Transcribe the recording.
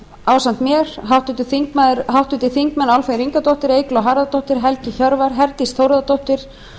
ásamt mér háttvirtir þingmenn álfheiður ingadóttir eygló harðardóttir helgi hjörvar herdís þórðardóttir